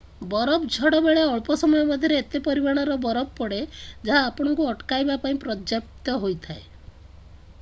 ବରଫ ଝଡ଼ ବେଳେ ଅଳ୍ପ ସମୟ ମଧ୍ୟରେ ଏତେ ପରିମାଣର ବରଫ ପଡ଼େ ଯାହା ଆପଣଙ୍କୁ ଅଟକାଇବା ପାଇଁ ପର୍ଯ୍ୟାପ୍ତ ହୋଇଥାଏ